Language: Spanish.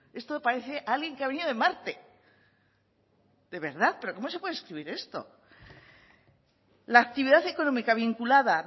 esto parece alguien que ha venido de marte de verdad pero cómo se puede escribir esto la actividad económica vinculada